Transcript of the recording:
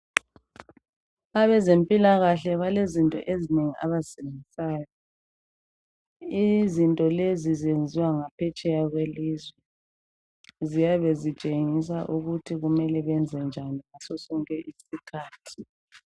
Abezempilakahle balezinto ezinengi abazisebenzisayo. Izinto lezi zenziwa ngaphetsheya kwelizwe ziyabe ezitshengisa ukuthi kumele bayenzenjani ngaso sonke isikhathi.